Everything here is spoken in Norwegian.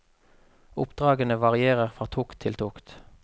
Oppdragene varierer fra tokt til tokt.